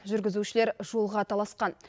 жүргізушілер жолға таласқан